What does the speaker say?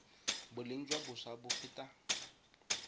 boleng jwa boswa bo feta